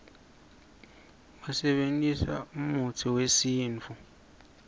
basebentisa umutsi uesintfu